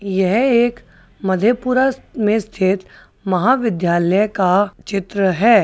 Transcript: यह एक मधेपुरा में स्थित महाविद्यालय का चित्र है।